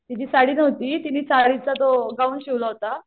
तिझी साडी नव्हती तिनी साडीचा तो गाउन शिवला होता